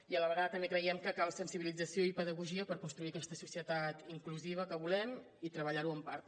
i a la vegada també creiem que cal sensibilització i pedagogia per construir aquesta societat inclusiva que volem i treballar ho en part també